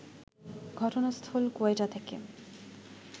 ঘটনাস্থল কোয়েটা থেকে